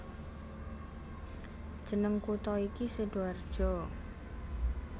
Jeneng kutha iki Sidoarjo